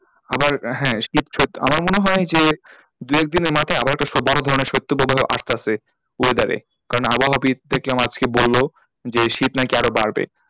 আবার হ্যাঁ শীত আমার মনে হয় যে দু একদিনের মাথায় আবার হয় তো বড়ো ধরনের শৈতপ্রবাহ আসতাছে weather এ কারণ আবহাওয়াবিদ দেখলাম আজকে বললো যে শীত না কি আরও বাড়বে,